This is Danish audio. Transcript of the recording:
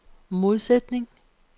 modsætning